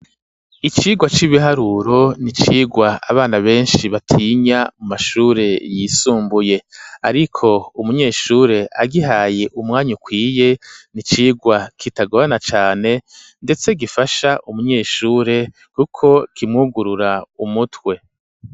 Icirwa c'ibiharuro n'icigwa abana beshi batinya mu mashure yisumbuye ariko umunyeshure agihaye umwanya ukwiye n'icigwa kitagorana cane ndetse gifasha umunyeshure kuko kimwugurura umutwe.